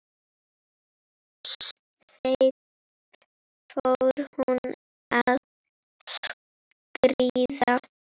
Seint fór hún að skríða.